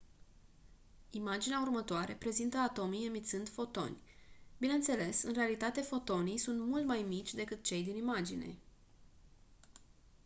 imaginea următoare prezintă atomii emițând fotoni bineînțeles în realitate fotonii sunt mult mai mici decât cei din imagine